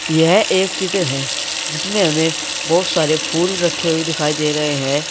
यह एक चित्र है जिसमें हमें बहुत सारे फूल रखे हुए दिखाई दे रहे हैं।